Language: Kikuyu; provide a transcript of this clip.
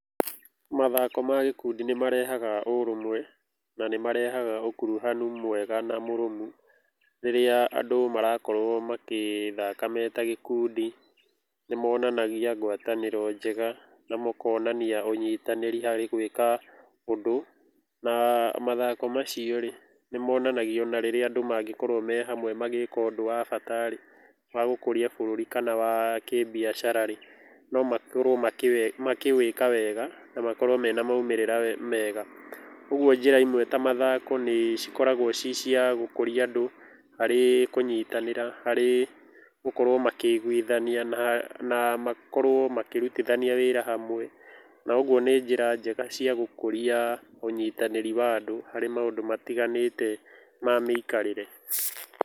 Mathako ma gĩkundi nĩ marehaga ũũrũmwe na nĩ marehaga ũkuruhanu mwega na mũrũmu. Rĩrĩa andũ marakorũo magĩthaka me ta gĩkundi nĩ monanagia ngwatanĩro njega na mũkonania ũnyitanĩri harĩ gwĩka ũndũ. Na mathako macio rĩ, nĩ monanagia ona rĩrĩa andũ mangĩkorũo me hamwe magĩka ũndũ wa bata rĩ, wa gũkũria bũrũri kana wa kĩbiacara rĩ, no makorũo makĩwĩka wega na makorũo mena moimĩrĩra mega. Ũguo njĩra imwe ta mathako nĩ cikoragũo cii cia gũkũria andũ harĩ kũnyitanĩra, harĩ gũkorũo makĩiguithania na makorũo makĩrutithania wĩra hamwe na ũguo nĩ njĩra njega cia gũkũria ũnyitanĩri wa andũ harĩ maũndũ matiganĩte ma mĩikarĩre.